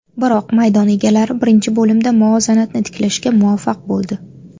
Biroq maydon egalari birinchi bo‘limda muvozanatni tiklashga muvaffaq bo‘ldi.